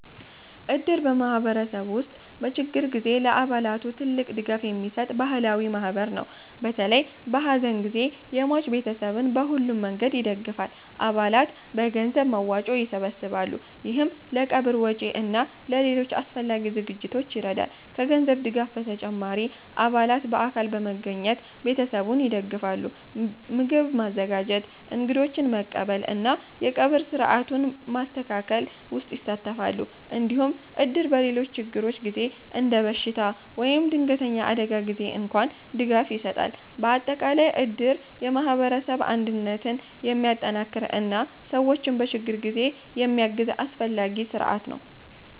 እድር በማህበረሰብ ውስጥ በችግር ጊዜ ለአባላቱ ትልቅ ድጋፍ የሚሰጥ ባህላዊ ማህበር ነው። በተለይ በሐዘን ጊዜ የሟች ቤተሰብን በሁሉም መንገድ ይደግፋል። አባላት በገንዘብ መዋጮ ይሰበሰባሉ፣ ይህም ለቀብር ወጪ እና ለሌሎች አስፈላጊ ዝግጅቶች ይረዳል። ከገንዘብ ድጋፍ በተጨማሪ አባላት በአካል በመገኘት ቤተሰቡን ይደግፋሉ። ምግብ ማዘጋጀት፣ እንግዶችን መቀበል እና የቀብር ሥርዓቱን ማስተካከል ውስጥ ይሳተፋሉ። እንዲሁም እድር በሌሎች ችግሮች ጊዜ እንደ በሽታ ወይም ድንገተኛ አደጋ ጊዜ እንኳን ድጋፍ ይሰጣል። በአጠቃላይ እድር የማህበረሰብ አንድነትን የሚጠናክር እና ሰዎችን በችግር ጊዜ የሚያግዝ አስፈላጊ ስርዓት ነው።